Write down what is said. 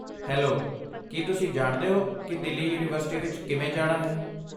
Hello, ਕੀ ਤੁਸੀਂ ਜਾਣਦੇ ਹੋ ਕਿ ਦਿੱਲੀ ਯੂਨੀਵਰਸਿਟੀ ਵਿੱਚ ਕਿਵੇਂ ਜਾਣਾ ਹੈ?